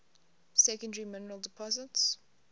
secondary mineral deposits